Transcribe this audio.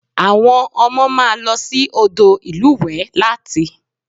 Àwọn ọmọ máa lọ sí odò ìlúwẹ̀ẹ́ láti